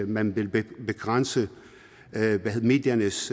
man vil begrænse mediernes